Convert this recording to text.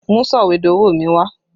Mú sọ̀wédowó mi wá!